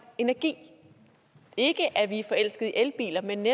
energi ikke at vi er forelsket i elbiler men